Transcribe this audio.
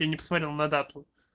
я не посмотрел на дату